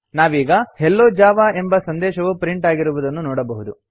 ನಾವೀಗ hello Java ಎಂಬ ಸಂದೇಶವು ಪ್ರಿಂಟ್ ಆಗಿರುವುದನ್ನು ನೋಡಬಹುದು